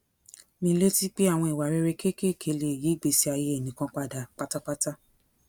mi létí pé àwọn ìwà rere kéékèèké lè yí ìgbésí ayé ẹnì kan padà pátápátá